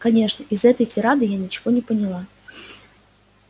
конечно из этой тирады я ничего не поняла